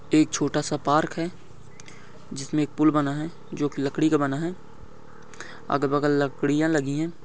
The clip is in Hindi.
एक छोटा सा पार्क है जिसमें एक पूल बना है जो की लकड़ी का बना है अगल बगल लकड़िया लगी है।